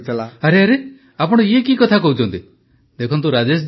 ପ୍ରଧାନମନ୍ତ୍ରୀ ଆରେ ରେ ଆପଣ ଇଏ କି କଥା କହୁଛନ୍ତି ଦେଖନ୍ତୁ ରାଜେଶ ଜୀ